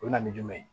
O bɛ na ni jumɛn ye